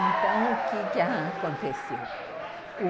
Então, o que a aconteceu?